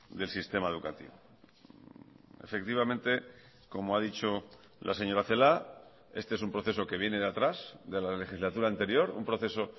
del sistema educativo efectivamente como ha dicho la señora celaá este es un proceso que viene de atrás de la legislatura anterior un proceso